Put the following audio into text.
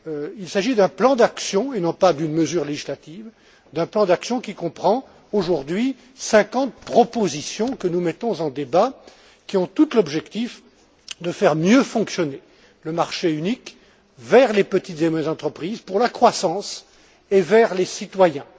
Il s'agit d'un plan d'action et non pas d'une mesure législative, d'un plan d'action qui comprend aujourd'hui 50 propositions que nous mettons en débat, qui ont toutes pour objectif de faire mieux fonctionner le marché unique au service des petites et moyennes entreprises, pour la croissance, et au service des citoyens.